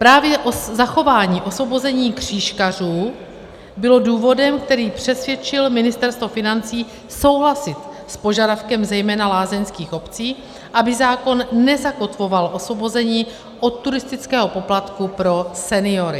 Právě zachování osvobození křížkařů bylo důvodem, který přesvědčil Ministerstvo financí souhlasit s požadavkem zejména lázeňských obcí, aby zákon nezakotvoval osvobození od turistického poplatku pro seniory.